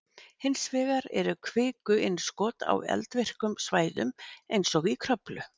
Hins vegar eru kvikuinnskot á eldvirkum svæðum eins og í Kröflu.